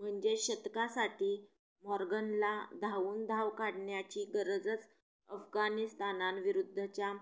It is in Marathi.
म्हणजेच शतकासाठी मॉर्गनला धावून धाव काढण्याची गरजच अफगाणिस्तानविरुद्धच्या